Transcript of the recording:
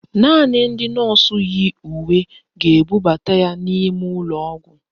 Naanị ndị nọọsụ yi uwe ga-ebubata ya n'ime ụlọọgwụ